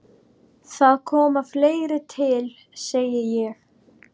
Það kom fleira til, segi ég.